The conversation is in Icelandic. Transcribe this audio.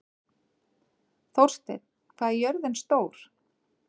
Þórsteinn, hvað er jörðin stór?